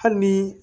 Hali ni